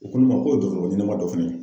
U ko n ma ko dɔgɔtɔrɔ ɲɛnɛma dɔ fɛnɛ .